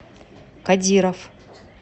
кодиров